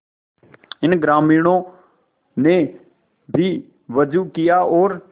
इन ग्रामीणों ने भी वजू किया और